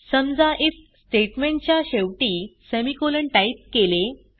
समजा IF statement च्या शेवटी सेमिकोलॉन टाईप केले